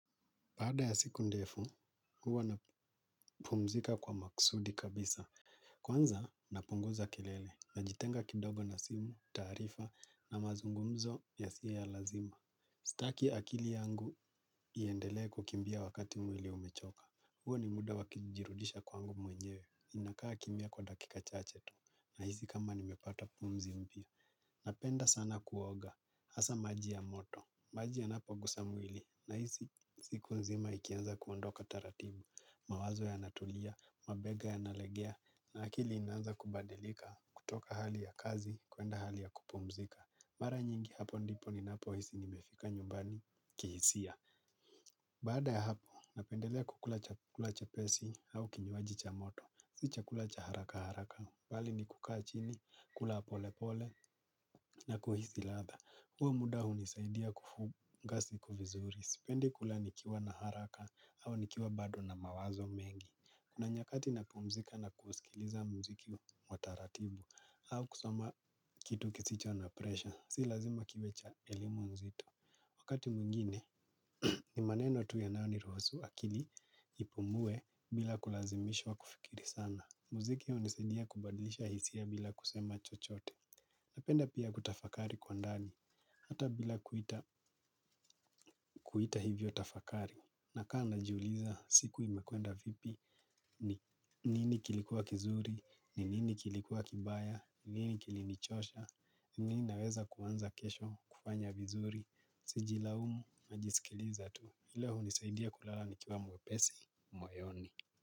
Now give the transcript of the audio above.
Baada ya siku ndefu, huwa napumzika kwa makusudi kabisa. Kwanza, napunguza kelele. Najitenga kidogo na simu, taarifa na mazungumzo yasiyo ya lazima. Sitaki akili yangu iendelee kukimbia wakati mwili umechoka. Huwa ni muda wa kujirudisha kwangu mwenyewe. Ninakaa kimya kwa dakika chachetu. Nahisi kama nimepata pumzi mpya. Napenda sana kuoga. Hasa maji ya moto. Maji yanapogusa mwili. Nahisi siku nzima ikianza kuondoka taratibu. Mawazo yanatulia, mabega yanalegea na akili inaanza kubadilika kutoka hali ya kazi kwenda hali ya kupumzika. Mara nyingi hapo ndipo ninapohisi nimefika nyumbani kihisia. Baada ya hapo, napendelea kukula chakula chepesi au kinywaji cha moto, si chakula cha haraka haraka. Bali ni kukaa chini, kula polepole na kuhisi ladha. Huo muda hunisaidia kufunga siku vizuri. Sipendi kula nikiwa na haraka au nikiwa bado na mawazo mengi. Kuna nyakati napumzika na kusikiliza mziki wa taratibu au kusoma kitu kisicho na presha. Si lazima kiwe cha elimu nzito. Wakati mwingine ni maneno tu yanayoniruhusu akili ipumue bila kulazimishwa kufikiri sana. Mziki hunisadia kubadilisha hisia bila kusema chochote. Napenda pia kutafakari kwa ndani hata bila kuita hivyo tafakari. Nakaa najiuliza siku imekwenda vipi? Ni nini kilikuwa kizuri? Ni nini kilikuwa kibaya? Nini kilinichosha? Nini naweza kuanza kesho kufanya vizuri? Sijilaumu, najisikiliza tu. Ile hunisaidia kulala nikiwa mwepesi, moyoni.